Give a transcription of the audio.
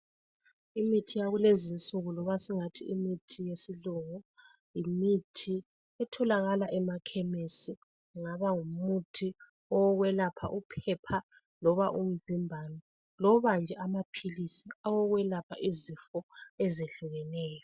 Imithi yakulezi nsuku noma singathi imithi yesilungu yimithi etholakala emakhemesi kungaba ngumuthi owokwelapha uphepha loba umvimbano loba nje amaphilisi awokwelapha izifo ezehlukeneyo.